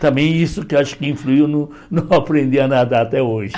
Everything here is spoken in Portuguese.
Também isso que eu acho que influiu no não aprender a nadar até hoje.